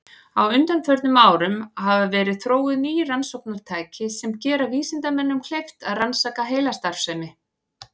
Á undanförnum árum hafa verið þróuð ný rannsóknartæki sem gera vísindamönnum kleift að rannsaka heilastarfsemi.